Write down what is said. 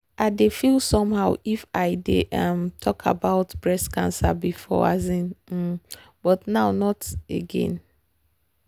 i dey feel somehow if i dey um talk about breast cancer before um um but not now again. um